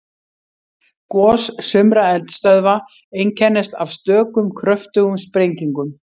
Gos sumra eldstöðva einkennast af stökum kröftugum sprengingum.